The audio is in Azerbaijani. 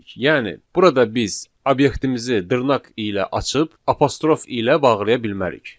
Yəni burada biz obyektimizi dırnaq ilə açıb, apostrof ilə bağlaya bilmərik.